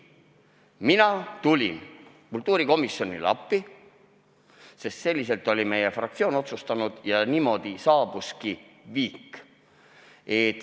Mina tulin kultuurikomisjonile appi, sest sedasi oli meie fraktsioon otsustanud, ja niimoodi saabuski viik.